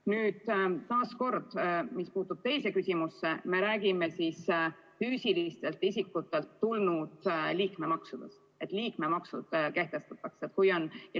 Nüüd mis puutub teise küsimusse, siis me räägime füüsilistelt isikutelt tulnud liikmemaksudest.